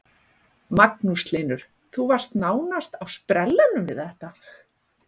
Magnús Hlynur: Þú varst nánast á sprellanum við þetta?